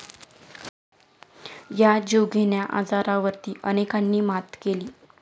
या जीवघेण्या आजारावर अनेकांनी मात केली.